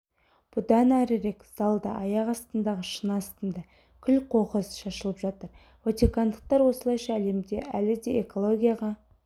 бұдан әрірек залда аяқ астындағы шыны астында күл-қоқыс шашылып жатыр ватикандықтар осылайша әлемде әлі де экологияға